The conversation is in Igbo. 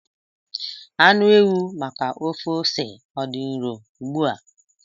Anụ ewu maka ofe ose ọ dị nro ugbu a?